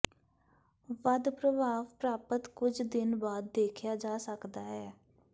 ਵੱਧ ਪ੍ਰਭਾਵ ਪ੍ਰਾਪਤ ਕੁਝ ਦਿਨ ਬਾਅਦ ਦੇਖਿਆ ਜਾ ਸਕਦਾ ਹੈ